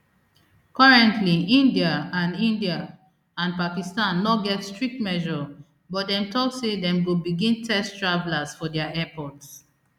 currently india and india and pakistan no get strict measure but dem tok say dem go begin test travellers for dia airports